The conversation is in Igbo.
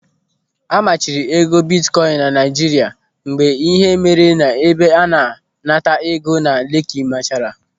A machiri ego bitkoin na Naijiria mgbe ihe mere n'ebe a na-anata ego na Leki mechara.